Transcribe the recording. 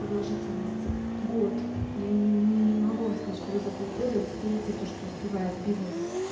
продолжительность год я не не не могу вам сказать что вы за полгода успеете то что успевает бизнес